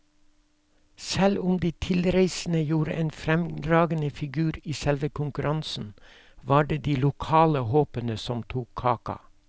Selv om de tilreisende gjorde en fremragende figur i selve konkurransen, var det de lokale håpene som tok kaka.